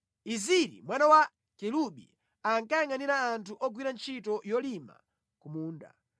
Eziri mwana wa Kelubi ankayangʼanira anthu ogwira ntchito yolima ku munda.